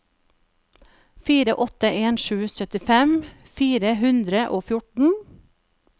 fire åtte en sju syttifem fire hundre og fjorten